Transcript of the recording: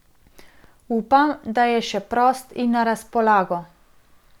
Upam, da je še prost in na razpolago.